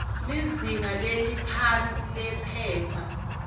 lizinga leliphansi liphepha